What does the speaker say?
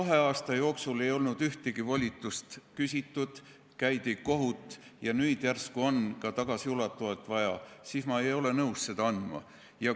Kui kahe aasta jooksul ei olnud ühtegi volitust küsitud, kuigi käidi kohut, ja nüüd järsku oli ka tagasiulatuvalt volitust vaja, siis ma ei olnud nõus seda andma.